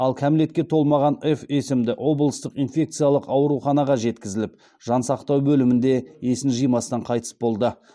ал кәмелетке толмаған ф есімді облыстық инфекциялық ауруханаға жеткізіліп жансақтау бөлімінде есін жимастан қайтыс болды